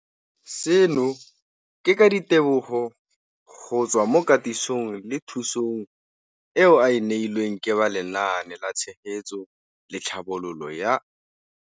Seno ke ka ditebogo go tswa mo katisong le thu song eo a e neilweng ke ba Lenaane la Tshegetso le Tlhabololo ya.